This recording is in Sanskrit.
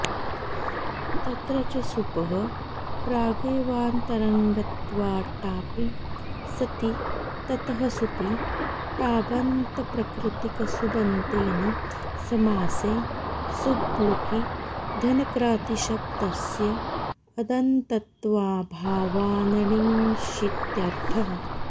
तत्र च सुपः प्रागेवान्तरङ्गत्वाट्टापि सति ततः सुपि टाबन्तप्रकृतिकसुबन्तेन समासे सुब्लुकि धनक्रातीशब्दस्य अदन्तत्वाऽभावान्न ङीषित्यर्थः